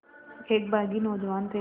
एक बाग़ी नौजवान थे